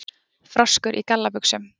Froskur í gallabuxum?